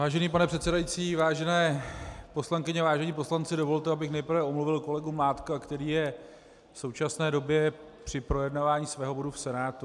Vážený pane předsedající, vážené poslankyně, vážení poslanci, dovolte, abych nejprve omluvil kolegu Mládka, který je v současné době při projednávání svého bodu v Senátu.